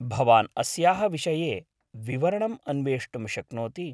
भवान् अस्याः विषये विवरणं अन्वेष्टुं शक्नोति।